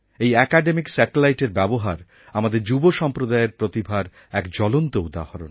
এই অ্যাকাডেমিক স্যাটেলাইটএর ব্যবহার আমাদের যুব সম্প্রদায়ের প্রতিভার এক জ্বলন্ত উদাহরণ